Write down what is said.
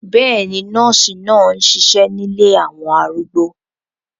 Bẹ́ẹ̀ni, nọ́ọ̀sì náà ń ṣiṣẹ́ nílé àwọn arúgbó